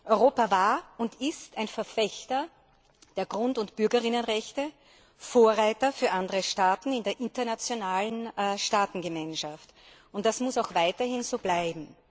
Europa war und ist ein Verfechter der Grund und Bürgerrechte und Vorreiter für andere Staaten in der internationalen Staatengemeinschaft, und das muss auch weiterhin so bleiben.